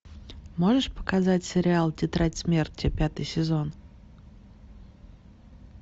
можешь показать сериал тетрадь смерти пятый сезон